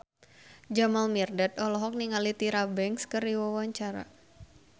Jamal Mirdad olohok ningali Tyra Banks keur diwawancara